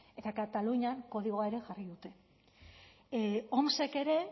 eta katalunian kodigoa ere jarri dute omsek ere